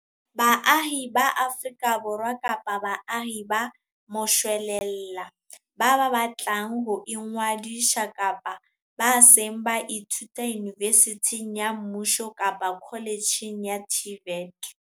Baahi ba Afrika Borwa kapa baahi ba moshwelella ba batlang ho ingodisa kapa ba seng ba ithuta yunivesithing ya mmuso kapa kholetjheng ya TVET.